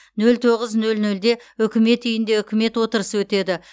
нөл тоғыз нөл нөлде үкімет үйінде үкімет отырысы өтеді